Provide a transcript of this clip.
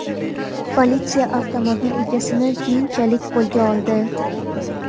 Politsiya avtomobil egasini keyinchalik qo‘lga oldi.